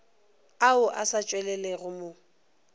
ao a sa tšwelelego mo